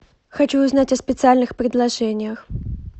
хочу узнать о специальных предложениях